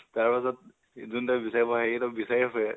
তাৰপিছত যোনটোয়ে বিচাৰি ফুৰে, সেইকেইটাক বিচাৰি ফুৰে